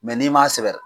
Mɛ n'i m'a sɛbɛ